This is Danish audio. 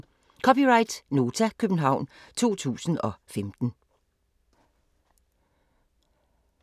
(c) Nota, København 2015